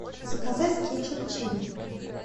заказать кетчуп чили